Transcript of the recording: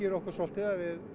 okkur svolítið að við